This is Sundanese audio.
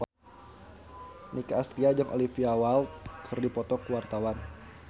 Nicky Astria jeung Olivia Wilde keur dipoto ku wartawan